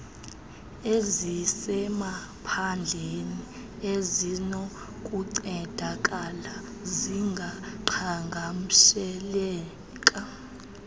ezisemaphandleni ezinokuncedakala zingaqhagamsheleka